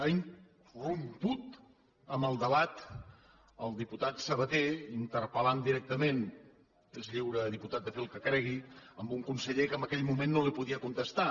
ha irromput en el debat el diputat sabaté interpel·lant directament és lliure diputat de fer el que cregui a un conseller que en aquell moment no li podia contestar